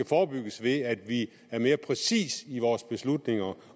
forebygges ved at vi er mere præcise i vores beslutninger